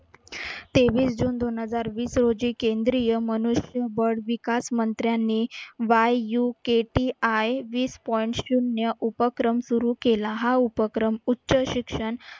तेवीस जून दोन हजार वीस रोजी केंद्रीय मनुष्यबळ विकासमंत्र्यांनी YUKTI वीस point शून्य उपक्रम सुरू केला, हा उपक्रम उच्च शिक्षण